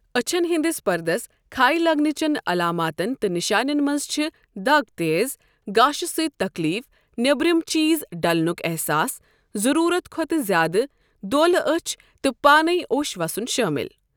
اچھن ہٕنٛدس پردس كھٕہہ لگنٕہ چین علاماتن تہٕ نِشانین منٛز چھِ دگ تیٖز گاشہِ سۭتۍ تکلیٖف نیبرِم چیزڈلنٗك احساس، ضروٗرت کھۄتہٕ زیٛادٕ دولہٕ أچھ تہٕ پانے اوٚش وسن شٲمِل۔